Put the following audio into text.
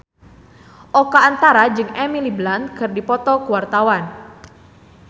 Oka Antara jeung Emily Blunt keur dipoto ku wartawan